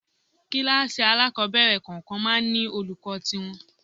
Kíláàsì alákọ̀ọ́bẹ̀rẹ̀ kọ̀ọ̀kan máa ń ní olùkọ́ tí wọn.